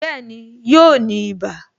Bẹẹni, yóò ní ibà